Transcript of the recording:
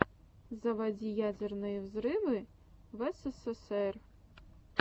заводи ядерные взрывы в эсэсэсэр